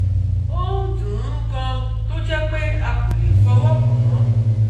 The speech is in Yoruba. O n dun un gan to je pé a kò lè fọwọ́ kàn án